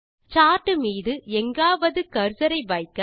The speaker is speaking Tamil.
சார்ட் மீதும் எங்காவது கர்சரை வைக்க